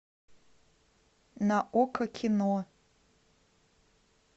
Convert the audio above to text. на окко кино